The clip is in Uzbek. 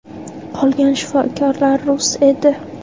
Qolgan shifokorlar rus edi.